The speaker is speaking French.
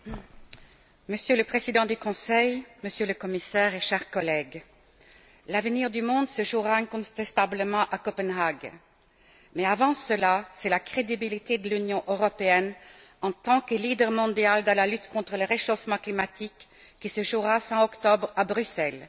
Monsieur le Président, Monsieur le Président du Conseil, Monsieur le Commissaire et chers collègues, l'avenir du monde se jouera incontestablement à Copenhague, mais avant cela, c'est la crédibilité de l'Union européenne, en tant que leader mondial dans la lutte contre le réchauffement climatique, qui se jouera fin octobre à Bruxelles.